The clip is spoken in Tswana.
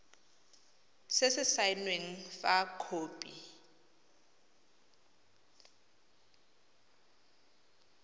se se saenweng fa khopi